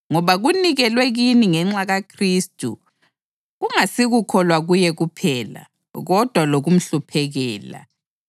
Ngoba kunikelwe kini ngenxa kaKhristu kungasikukholwa kuye kuphela, kodwa lokumhluphekela,